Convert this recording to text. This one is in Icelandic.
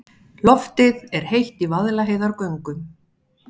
Loftið er heitt í Vaðlaheiðargöngum.